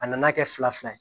A nana kɛ fila fila ye